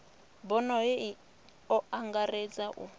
bono hei o angaredza u